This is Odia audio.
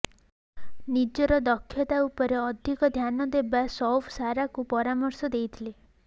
ନିଜର ଦକ୍ଷତା ଉପରେ ଅଧିକ ଧ୍ୟାନ ଦେବା ସୈଫ୍ ସାରାକୁ ପରାମର୍ଶ ଦେଇଥିଲେ